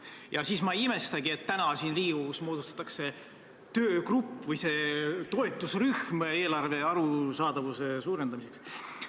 Seetõttu ma ei imestagi, et täna siin Riigikogus moodustatakse toetusrühm eelarve arusaadavuse suurendamiseks.